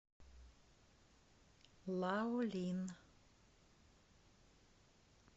лаолин